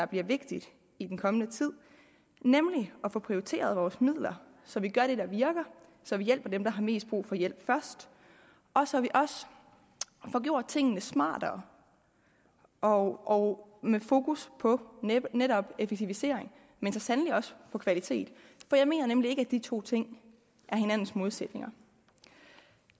bliver vigtigt i den kommende tid nemlig at få prioriteret vores midler så vi gør det der virker og så vi hjælper dem der har mest brug for hjælp først og så vi også får gjort tingene smartere og med fokus på netop effektivisering men så sandelig også på kvalitet for jeg mener nemlig ikke at de to ting er hinandens modsætninger